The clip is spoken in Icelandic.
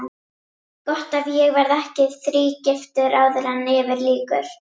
Gott ef ég verð ekki þrígiftur áður en yfir lýkur.